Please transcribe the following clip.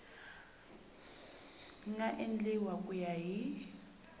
nga endliwa ku ya hi